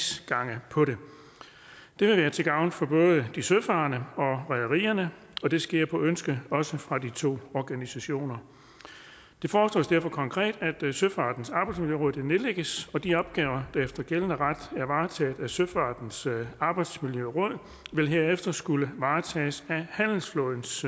sagsgange på det det vil være til gavn for både de søfarende og rederierne og det sker på ønske også fra de to organisationer det foreslås derfor konkret at søfartens arbejdsmiljøråd nedlægges og de opgaver der efter gældende ret er varetaget af søfartens arbejdsmiljøråd vil herefter skulle varetages af handelsflådens